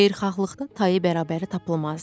Xeyirxahlıqda tayı bərabəri tapılmazdı.